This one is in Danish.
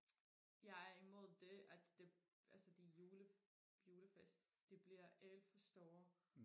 jeg er imod det at det altså de jule julefest de bliver alt for store